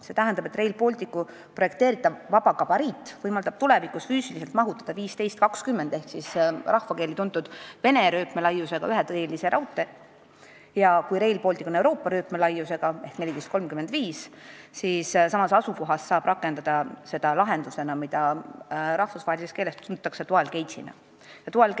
See tähendab, et Rail Balticu projekteeritav vaba gabariit võimaldab tulevikus füüsiliselt mahutada 1520 mm ehk siis rahvakeeli tuntud Vene rööpmelaiusega üheteelise raudtee ja kui Rail Baltic on Euroopa rööpmelaiusega ehk 1435 mm, siis samas asukohas saab rakendada seda lahendusena, mida rahvusvaheliselt tuntakse dual gauge'i nimetuse all.